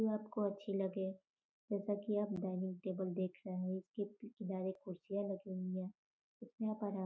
ये आपको अच्छी लगे। जैसा कि आप डाइनिंग टेबल देख रहे हैं इसके पीछे डायरेक्ट कुर्सियां लगी हुई हैं उस में आप आराम --